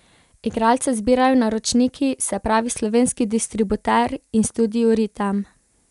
Igralce izbirajo naročniki, se pravi slovenski distributer in Studio Ritem.